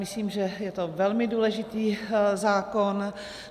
Myslím, že je to velmi důležitý zákon.